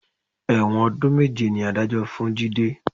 Ẹ̀wọ̀n ọdún méje ni Adájọ́ fún Jide